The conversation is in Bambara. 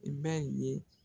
I bɛ nin ye.